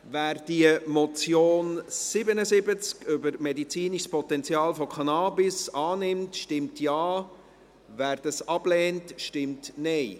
Wer diese Motion, Traktandum 77, über das medizinische Potenzial von Cannabis annimmt, stimmt Ja, wer dies ablehnt, stimmt Nein.